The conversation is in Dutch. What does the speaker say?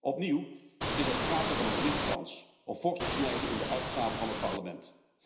Opnieuw is er sprake van een gemiste kans om fors te snijden in de uitgaven van het Parlement.